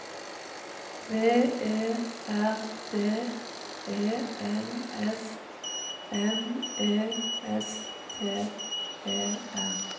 V E R D E N S M E S T E R